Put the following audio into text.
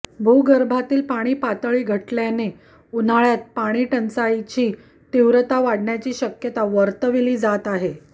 भूगर्भातील पाणी पातळी घटल्याने उन्हाळ्यात पाणीटंचाईची तीव्रता वाढण्याची शक्यता वर्तविली जात आहे